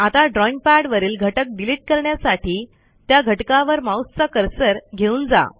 आता drawing pad वरील घटक डिलिट करण्यासाठी त्या घटकावर माऊसचा कर्सर घेऊन जा